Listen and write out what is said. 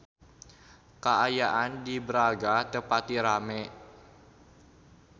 Kaayaan di Braga teu pati rame